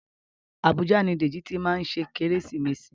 Abuja ni Deji tí má ṣe Kérésìmesì